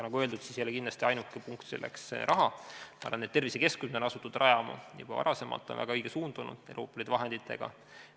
Nagu öeldud, kindlasti ei ole ainuke punkt selles raha, aga tervisekeskusi on asutud rajama juba varasemalt, see on väga õige suund olnud, nende Euroopa Liidu vahenditega.